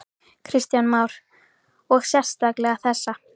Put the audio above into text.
Kristján Már: Og sérstaklega þessa?